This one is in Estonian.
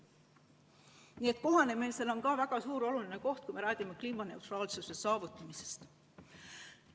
Nii et kohanemisel on ka väga suur oluline roll, kui me räägime kliimaneutraalsuse saavutamisest.